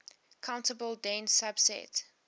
countable dense subset